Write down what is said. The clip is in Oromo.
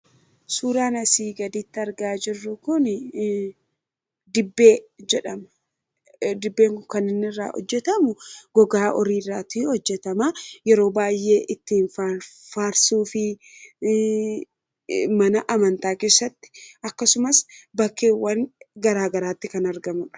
suraanasii gaditti argaa jirru kun hadibbee kkirra hojjetamu gogaa oriiraati hojjetama yeroo baay'ee ittiin faarsuu fi mana amantaa kessatti akkasumas bakkeewwan garaagaraatti kan argamudha